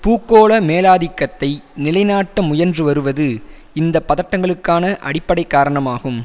பூகோள மேலாதிக்கத்தை நிலைநாட்ட முயன்று வருவது இந்த பதட்டங்களுக்கான அடிப்படை காரணமாகும்